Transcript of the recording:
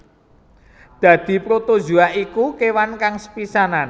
Dadi protozoa iku kéwan kang sepisanan